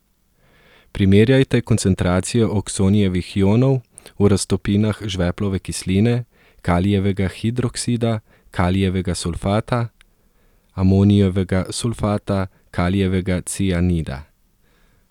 Primerjajte koncentracijo oksonijevih ionov v raztopinah žveplove kisline, kalijevega hidroksida, kalijevega sulfata, amonijevega sulfata, kalijevega cianida.